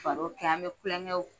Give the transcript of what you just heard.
Baro kɛ an bɛ kulɛnkɛw